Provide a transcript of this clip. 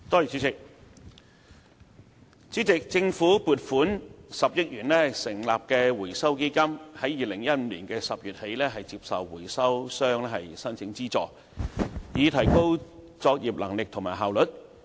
主席，政府撥款10億元成立的回收基金於2015年10月起接受回收商申請資助，以提高作業能力和效率。